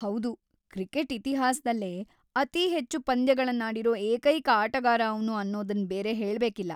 ಹೌದು, ಕ್ರಿಕೆಟ್ ಇತಿಹಾಸ್ದಲ್ಲೇ ಅತೀ ಹೆಚ್ಚು ಪಂದ್ಯಗಳ್ನಾಡಿರೋ ಏಕೈಕ ಆಟಗಾರ ಅವ್ನು ಅನ್ನೋದನ್‌ ಬೇರೆ ಹೇಳ್ಬೇಕಿಲ್ಲ.